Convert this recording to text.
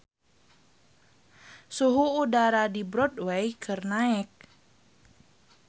Suhu udara di Broadway keur naek